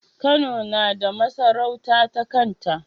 Kano nada masarauta ta kanta